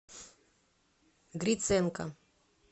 гриценко